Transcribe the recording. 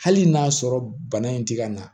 Hali n'a sɔrɔ bana in ti ka na